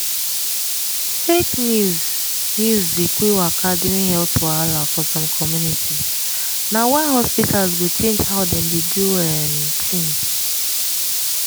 fake news news dey quick waka during health wahala for some communities na why hospitals go change how dem dey do um things.